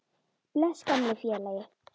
Bless, gamli félagi.